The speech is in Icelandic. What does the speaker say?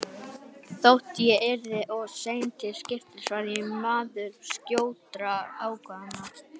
Þótt ég yrði of seinn til skips var ég maður skjótra ákvarðana.